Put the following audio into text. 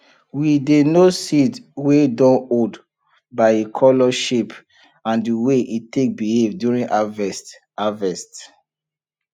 we dey know seed wey dun old by e color shape and the way e take behave during harvest harvest